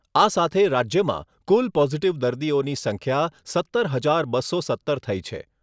આ સાથે રાજ્યમાં કુલ પોઝીટીવ દર્દીઓની સંખ્યા સત્તર હજાર બસો સત્તર થઈ છે.